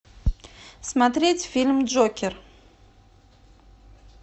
смотреть фильм джокер